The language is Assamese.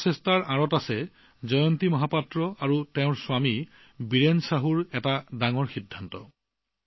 এই প্ৰচেষ্টাৰ আঁৰত জয়ন্তী মহপাত্ৰ জী আৰু তেওঁৰ স্বামী বীৰেণ চাহু জীৰ এক ডাঙৰ সিদ্ধান্ত